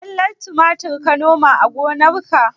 Zallar tumatir ka noma a gonarka?